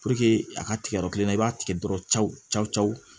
a ka tigɛ yɔrɔ kelen na i b'a tigɛ dɔrɔn